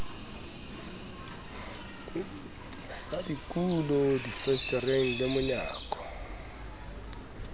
sa dikulo difensetereng le monyako